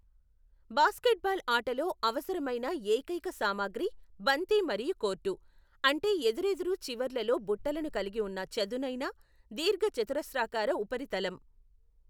Basketball ఆటలో అవసరమైన ఏకైక సామగ్రి బంతి మరియు కోర్టు, అంటే ఎదురెదురు చివర్లలో బుట్టలను కలిగి ఉన్న చదునైన, దీర్ఘచతురస్రాకార ఉపరితలం.